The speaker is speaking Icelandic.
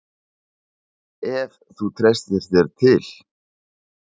Ef þú treystir þér til.